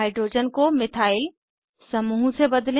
hydrogen को methyl समूह से बदलें